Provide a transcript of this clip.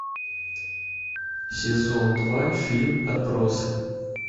сезон два фильм отбросы